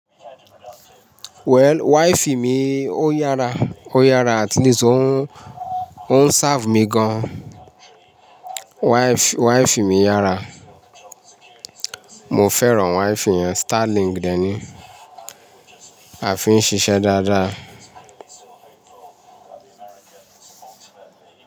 Well, wifi mi ó yára, ó yára àtleast òun, òun serve mi gan. Wife, wife mi yára. Mo fẹ́ràn wifi yẹn. Starlink dèni. A fi ń ṣiṣẹ́ dáadáa.